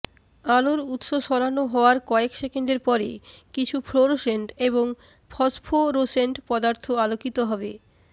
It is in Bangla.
আলোর উত্স সরানো হওয়ার কয়েক সেকেন্ডের পরে কিছু ফ্লোরোসেন্ট এবং ফসফোরোসেন্ট পদার্থ আলোকিত হবে